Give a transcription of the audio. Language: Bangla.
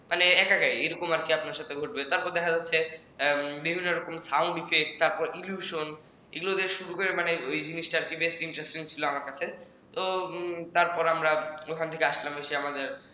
মানে একা একা এরকম আর কি আপনার সাথে ঘটবে তারপর দেখা যাচ্ছে বিভিন্ন রকম sound effect তারপর illusion এগুলো বেশ ওই জিনিসটা আর কি বেশ interesting ছিল আমার কাছে তো তারপর আমরা ওখান থেকে আসলাম এসে আমাদের